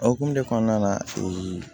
O hokumu kɔnɔna na